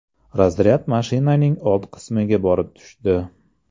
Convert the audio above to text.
Razryad mashinaning old qismiga borib tushdi.